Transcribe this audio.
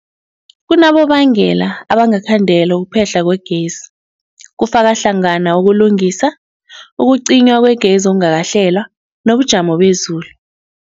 Kunabonobangela abangakhandela ukuphehlwa kwegezi, kufaka hlangana ukulungisa, ukucinywa kwegezi okungakahlelwa, nobujamo bezulu.